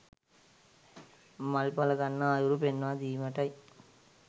මල් ඵල ගන්නා අයුරු පෙන්වා දීමටයි